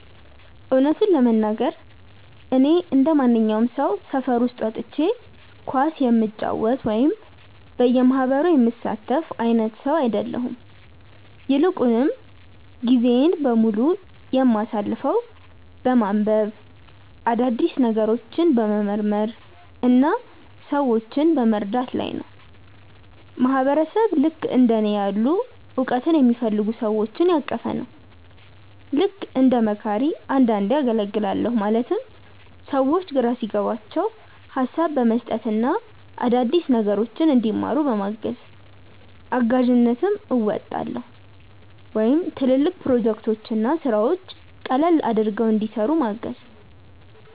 እውነቱን ለመናገር፣ እኔ እንደማንኛውም ሰው ሰፈር ውስጥ ወጥቼ ኳስ የምጫወት ወይም በየማህበሩ የምሳተፍ አይነት ሰው አይደለሁም። ይልቁንም ጊዜዬን በሙሉ የማሳልፈው በማንበብ፣ አዳዲስ ነገሮችን በመመርመር እና ሰዎችን በመርዳት ላይ ነው። ማህበረሰብ ልክእንደ እኔ ያሉ እውቀትን የሚፈልጉ ሰዎችን ያቀፈ ነው። ልክ እንደ መካሪ አንዳንዴ አገልግላለሁ ማለትም ሰዎች ግራ ሲገባቸው ሀሳብ በመስጠት እና አዳዲስ ነገሮችን እንዲማሩ በማገዝ። እጋዥነትም አወጣለሁ ወይም ትልልቅ ፕሮጀክቶችን እና ስራዎችን ቀለል አድርገው እንዲሰሩ ምገዝ።